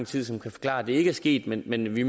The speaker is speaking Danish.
tid som kan forklare at det ikke er sket men men vi